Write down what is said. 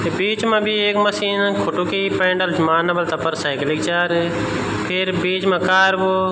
बीच मा बि एक मशीन खुटू की पैंडल मारना मा तफर साइकिलिक चार फिर बीच मा कारबो --